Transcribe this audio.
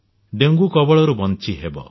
dengue କବଳରୁ ବଞ୍ଚି ହେବ